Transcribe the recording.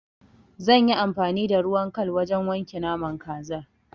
Zan yi amfani da ruwan kal wurin wanke naman kazar.